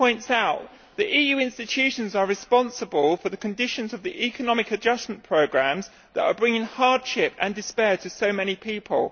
As he points out, the EU institutions are responsible for the conditions of the economic adjustment programmes that are bringing hardship and despair to so many people.